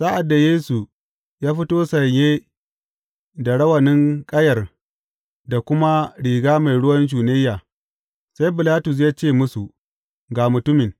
Sa’ad da Yesu ya fito sanye da rawanin ƙayar da kuma riga mai ruwan shunayya, sai Bilatus ya ce musu, Ga mutumin!